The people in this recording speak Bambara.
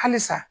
Halisa